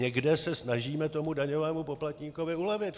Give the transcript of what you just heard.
Někde se snažíme tomu daňovému poplatníkovi ulevit.